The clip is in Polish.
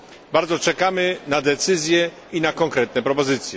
Bardzo czekamy na decyzje i na konkretne propozycje.